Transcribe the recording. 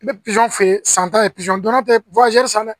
I bɛ feere san ta ye donna tɛ san dɛ